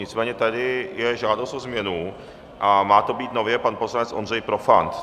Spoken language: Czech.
Nicméně je tady žádost o změnu a má to být nově pan poslanec Ondřej Profant.